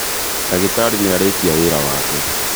ndagĩtarĩ nĩarĩkia wĩra wake